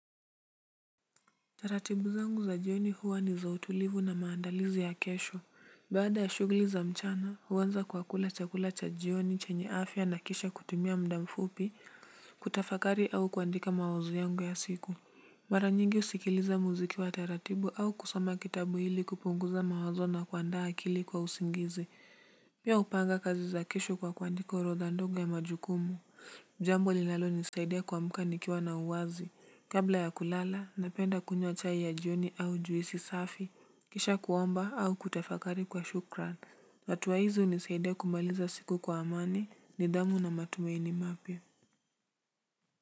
Taratibu zangu za jioni huwa ni za utulivu na maandalizi ya kesho. Baada ya shughuli za mchana, huanza kwa kula chakula cha jioni chenye afya na kisha kutumia mda mfupi kutafakari au kuandika mawazo yangu ya siku. Mara nyingi husikiliza muziki wa taratibu au kusoma kitabu ili kupunguza mawazo na kuandaa akili kwa usingizi. Pia hupanga kazi za kesho kwa kuandika orodha ndogo ya majukumu. Jambo linalonisaidia kuamka nikiwa na uwazi. Kabla ya kulala, napenda kunywa chai ya jioni au juisi safi, kisha kuomba au kutafakari kwa shukran. Hatua hizo hunisaidia kumaliza siku kwa amani nidhamu na matumaini mapya.